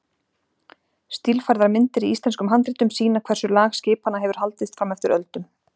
Stílfærðar myndir í íslenskum handritum sýna hversu lag skipanna hefur haldist fram eftir öldum.